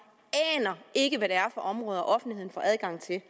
aner ikke hvad det er for områder offentligheden får adgang til